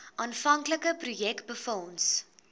aanvanklike projek befonds